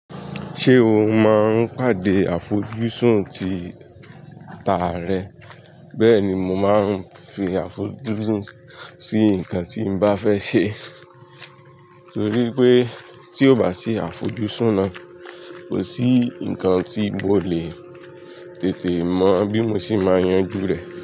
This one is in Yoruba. Ṣé o máa ń pàdé àfojúsùn ti ta rẹ? Bẹ́ẹ̀ ni, mo máa ń fi àfojúsùn sí nǹkan tí mo bá fẹ́ ṣe torí pé tí ò bá sí àfojúsùn náà, kò sí nǹkan tí mo lè tètè mọ̀ bí mo sì máa yanjú rẹ̀